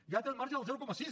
ja té el marge del zero coma sis